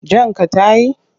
Jan ka ta yi?